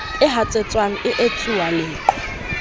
e hatsetswang e etsuwang leqhwa